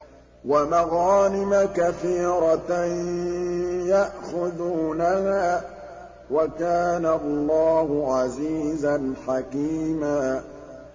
وَمَغَانِمَ كَثِيرَةً يَأْخُذُونَهَا ۗ وَكَانَ اللَّهُ عَزِيزًا حَكِيمًا